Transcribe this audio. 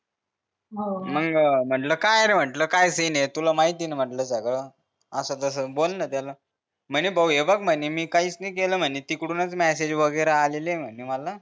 हवं मग म्हंटल काय रे म्हंटले काय सिन हे तुला माहित हे न म्हंटल सगळं असं कस बोललो त्याला म्हणे भाऊ हे बघ म्हणे मी काहीच नि केलं म्हणे तिकडूनच मेसेज वगैरे आलेले म्हणे मला